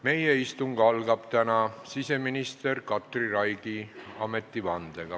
Meie istung algab täna siseminister Katri Raigi ametivandega.